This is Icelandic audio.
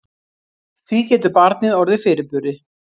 Því getur barnið orðið fyrirburi.